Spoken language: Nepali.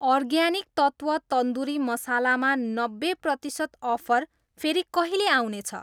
अर्ग्यानिक तत्त्व तन्दुरी मसाला मा नब्बे प्रतिसत अफर फेरि कहिले आउने छ?